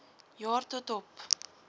jaar tot op